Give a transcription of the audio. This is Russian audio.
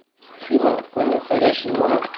афина отклони входящий звонок